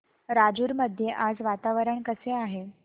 राजूर मध्ये आज वातावरण कसे आहे